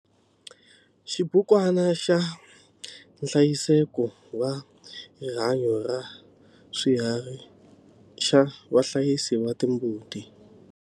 Xibukwana xa nhlayiseko wa rihanyo ra swiharhi xa vahlayisi va timbuti.